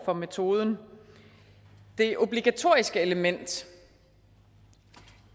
for metoden det obligatoriske element